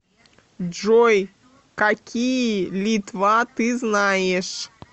джой какие литва ты знаешь